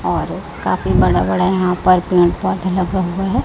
और काफी बड़ा बड़ा यहां पर पेड़ पौधा लगा हुआ है।